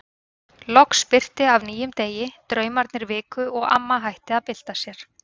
Loks birti af nýjum degi, draumarnir viku og amma hætti að bylta sér.